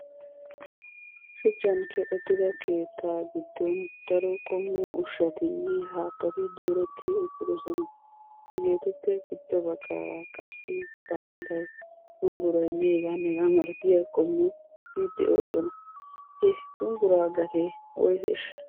Shuchchan keexettida keettaa giddon daro qommo ushshatinne. haattati dooretti uttidosona. Hegeetuppe giddo baggaara qassi baa'eelay, shumbburaynne hegaanne hegaa malatiya qommoti de'oosona. Ha shumbburaa gatee woyseeshsha?